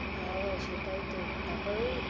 হ্যাঁ সেটাই তো, তারপর ঐ